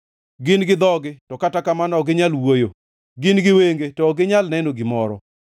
Gin gi dhogi, to kata kamano ok ginyal wuoyo, gin gi wenge to ok ginyal neno gimoro.